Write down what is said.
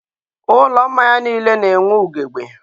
ụlọ mmanya niile na+enwe ugebe.